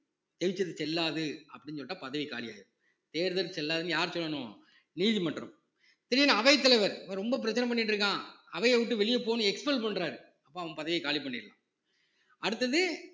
ஜெயிச்சது செல்லாது அப்படின்னு சொல்லிட்டா பதவி காலியாயிடும் தேர்தல் செல்லாதுன்னு யார் சொல்லணும நீதிமன்றம் திடீர்ன்னு அவைத்தலைவர் இவன் ரொம்ப பிரச்சனை பண்ணிட்டு இருக்கான் அவையை விட்டு வெளியே போன்னு expel பண்றாரு அப்ப அவன் பதவியை காலி பண்ணிடலாம் அடுத்தது